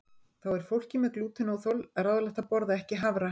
Þá er fólki með glútenóþol ráðlagt að borða ekki hafra.